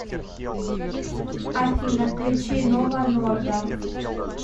афина включи нова норда